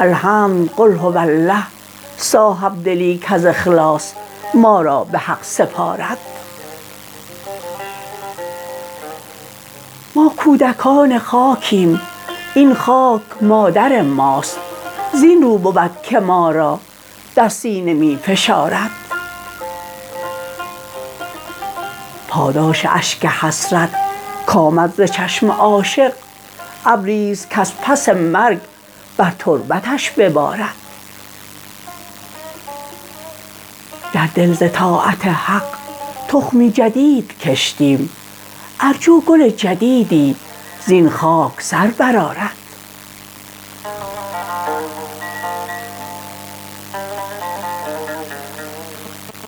الحمد قل هو اله صاحبدلی کز اخلاص ما را به حق سپارد ماکودکان خاکیم این خاک مادر ماست زین رو بودکه ما را در سینه می فشارد پاداش اشک حسرت کامد ز چشم عاشق ابریست کز پس مرگ بر تربتش ببارد در دل ز طاعت حق تخمی جدیدکشتیم ارجو گل جدیدی زین خاک سر برآرد